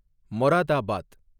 Moradabad